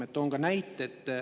Toon ka näite.